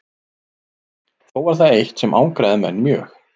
Þó var það eitt sem angraði menn mjög.